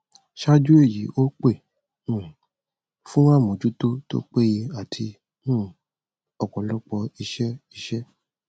ṣáájú èyí ó pè um fún àmójútó tó péye àti um ọpọlọpọ iṣẹ iṣẹ